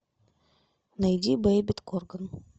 найди бейбит корган